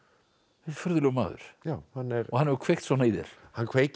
furðulegur maður og hann hefur kveikt svona í þér hann kveikir